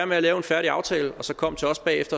med at lave en færdig aftale og så kommer til os og